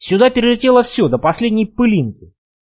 сюда перелетело все до последней пылинки